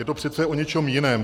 Je to přece o něčem jiném.